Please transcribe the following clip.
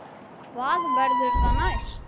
Hvað verður það næst?